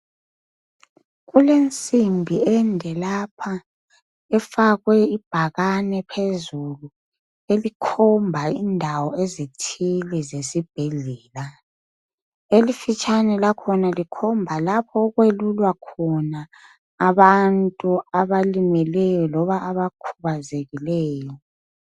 Kulensimbi ende lapha efakwe ibhakane phezulu elikhomba indawo ezithile zesibhedlela. Elifitshane lakhona likhomba lapho okwelulwa khona abantu abalimeleyo loba abakhubazekileyo.